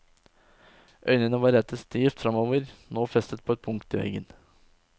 Øynene var rettet stivt framover, nå festet på et punkt i veggen.